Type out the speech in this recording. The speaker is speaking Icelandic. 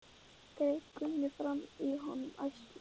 greip Gunni fram í fyrir honum æstur.